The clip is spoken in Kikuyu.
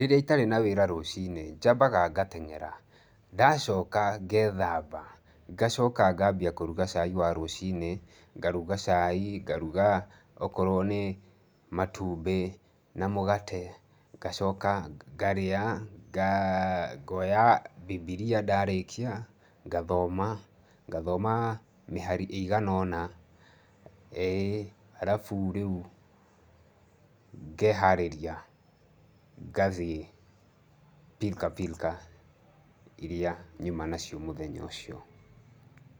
Rĩrĩa itarĩ na wĩra rũciinĩ njambaga ngateng'era. Ndacoka ngethamba. Ngacoka ngambia kũruga cai wa rũciinĩ, ngaruga cai, ngaruga, okorwo nĩ matumbĩ na mũgate, ngacoka ngarĩa, ngoya Bibilia ndarĩkia ngathoma, ngathoma mĩhari ĩigana ũna, ĩĩ, halafu rĩu ngeeharĩria ngathiĩ pirikapirika iria nyuma nacio mũthenya ũcio.